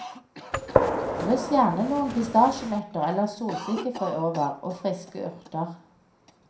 Dryss gjerne noen pistasjenøtter eller solsikkefrø over, og friske urter.